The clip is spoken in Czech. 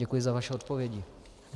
Děkuji za vaše odpovědi.